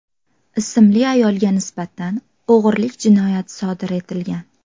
ismli ayolga nisbatan o‘g‘irlik jinoyati sodir etilgan.